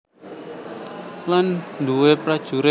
Lan duwé prajurit